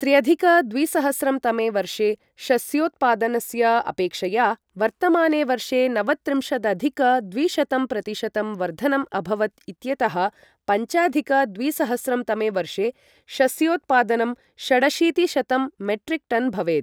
त्र्यधिक द्विसहस्रं तमे वर्षे शस्योत्पादनस्य अपेक्षया वर्तमाने वर्षे नवत्रिंशदधिक द्विशतंप्रतिशतम् वर्धनम् अभवत् इत्यतः पञ्चाधिक द्विसहस्रं तमे वर्षे शस्योत्पादनं षडशीतिशतं मेट्रिक् टन् भवेत्।